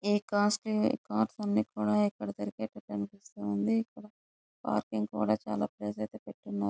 ఈ costly cars అన్ని కూడా ఇక్కడ దొరికే తట్టు కనిపిస్తుంది. ఇక్కడ పార్కింగ్ కూడా చాల ప్లేస్ అయితే పెట్టున్నారు.